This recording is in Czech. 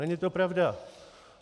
Není to pravda!